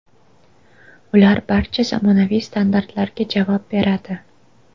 Ular barcha zamonaviy standartlarga javob beradi.